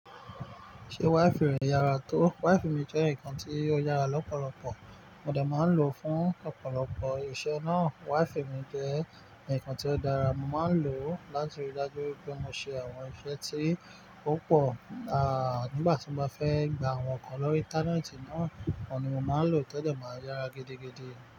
Ṣé wifi rẹ yára tó? Waifi mi jẹ́ ǹkan tí ó yára lọ́pọ̀lọpọ̀. Mo de má ń lò ó fún ọ̀pọ̀lọpọ̀ iṣẹ́ náà. Wifi mi jẹ́ ǹkan tí ó dára, mo ma ń lò ó láti rí i dájú wipé mo ṣe àwọn iṣẹ́ tí ó pò, nígbà tí mo bá fẹ́ gba àwọn nǹkan lórí íńtánẹ́ẹ̀tì náà, òun ni mo máa ń lò to de máa yára gidigidi.